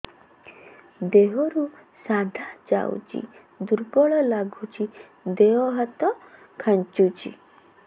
ଦେହରୁ ସାଧା ଯାଉଚି ଦୁର୍ବଳ ଲାଗୁଚି ଦେହ ହାତ ଖାନ୍ଚୁଚି